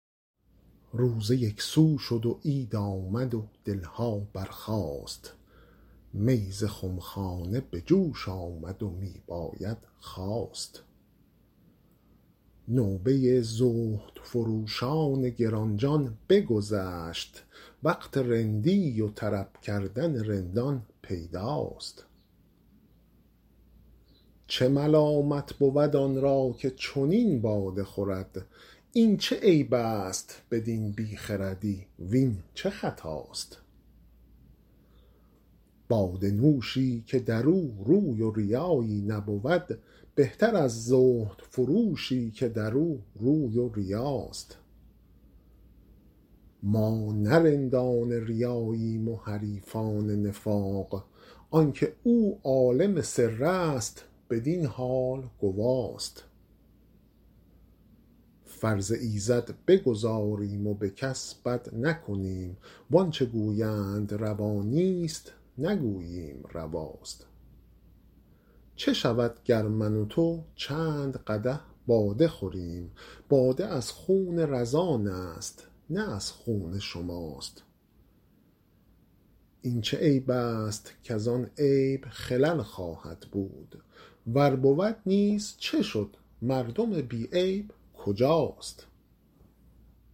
روزه یک سو شد و عید آمد و دل ها برخاست می ز خم خانه به جوش آمد و می باید خواست نوبه زهدفروشان گران جان بگذشت وقت رندی و طرب کردن رندان پیداست چه ملامت بود آن را که چنین باده خورد این چه عیب است بدین بی خردی وین چه خطاست باده نوشی که در او روی و ریایی نبود بهتر از زهدفروشی که در او روی و ریاست ما نه رندان ریاییم و حریفان نفاق آن که او عالم سر است بدین حال گواست فرض ایزد بگزاریم و به کس بد نکنیم وان چه گویند روا نیست نگوییم رواست چه شود گر من و تو چند قدح باده خوریم باده از خون رزان است نه از خون شماست این چه عیب است کز آن عیب خلل خواهد بود ور بود نیز چه شد مردم بی عیب کجاست